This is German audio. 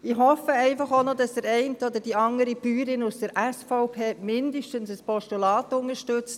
Ich hoffe einfach auch, dass zumindest der eine Bauer oder die andere Bäuerin aus der SVP ein Postulat unterstützt.